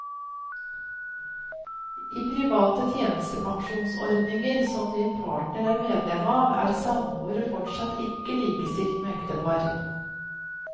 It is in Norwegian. I private tjenestepensjonsordninger, som din partner er medlem av, er samboere fortsatt ikke likestilt med ektepar.